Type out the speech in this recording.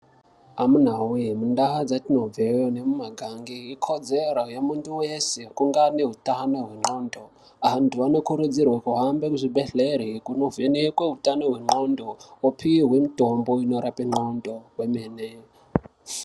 Amunawee, muntau dzatinobveyo nomumagange ikodzero yemuntu wese kunge ane utano hwendxondo. Antu anokurudzirwe kuhambe muzvibhedhlere kundovhenekwe utano hwendxondo, wopiwe mitombo inorape ndxondo kwemene.